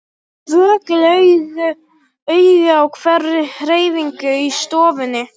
Vökul augu á hverri hreyfingu í stofunni.